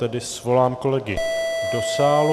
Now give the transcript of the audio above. Tedy svolám kolegy do sálu.